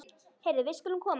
Heyrðu, við skulum koma.